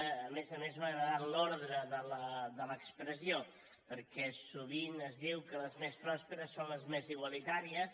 a més a més m’ha agradat l’odre de l’expressió perquè sovint es diu que les més prosperes són les més igualitàries